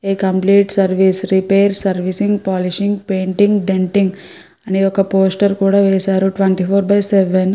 ఏ complete service repair servicing polishing painting denting అని ఒక poster కూడా వేశారు ట్వెంటీ ఫోర్ బై సెవెన్ --